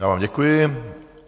Já vám děkuji.